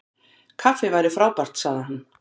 Kaffi væri frábært- sagði hann.